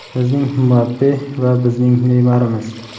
bizning Mbappe va bizning Neymarimiz.